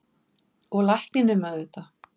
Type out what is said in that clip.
Og lækninum auðvitað.